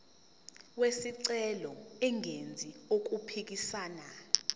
wesicelo engenzi okuphikisana